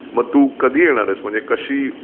मग तू कधी येणार आहेस म्हणजे कशी?